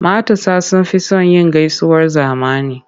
Matasa sun fi son yin gaisuwar zamani.